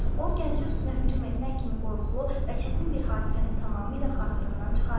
O Gəncə üstünə hücum etmək kimi qorxulu və çətin bir hadisəni tamamilə xatırından çıxarmışdı.